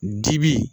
Dibi